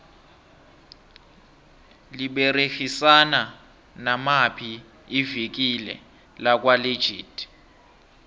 liberegisana namaphi ivikile lakwa legit